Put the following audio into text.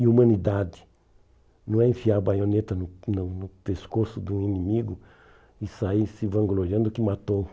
E humanidade não é enfiar a baioneta no no no pescoço de um inimigo e sair se vangloriando que matou.